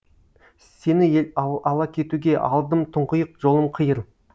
сені ала кетуге алдым тұңғиық жолым қиыр